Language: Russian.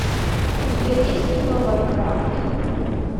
у тебя есть кино варкрафт